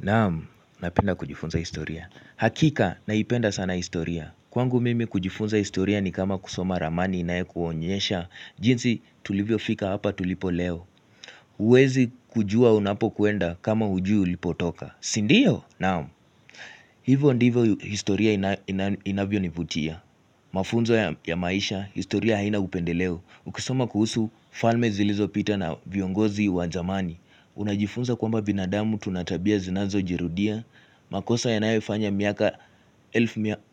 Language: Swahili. Naamu, napenda kujifunza historia. Hakika, naipenda sana historia. Kwangu mimi kujifunza historia ni kama kusoma ramani inaye kuonyesha. Jinsi tulivyo fika hapa tulipo leo. Uwezi kujua unapo kuenda kama ujui ulipotoka. Sindiyo? Naamu. Hivyo ndivyo historia inavyo nivutia. Mafunzo ya maisha, historia haina upendeleo. Ukisoma kuhusu falme zilizopita na viongozi wazamani. Unajifunza kwamba binadamu tunatabia zinazo jirudia makosa yanayofanya miaka